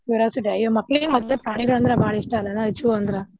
Curiosity ಮಕ್ಕಳಿಗೂ ಹಂಗಂದ್ರ ಬಾಳ ಇಷ್ಟಾಲ್ಲ zoo ಅಂದ್ರೆ.